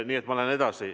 Nii et ma lähen edasi.